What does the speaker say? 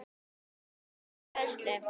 Kennslu og fræðslu